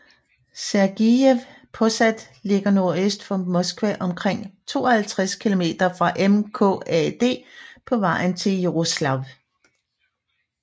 Sergijev Posad ligger nordøst for Moskva omkring 52 km for MKAD på vejen til Jaroslavl